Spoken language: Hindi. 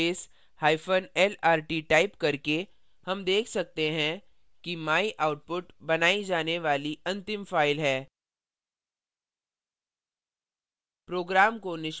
ls –lrt टाइप करके हम देख सकते हैं कि myoutput by जाने वाली अंतिम file है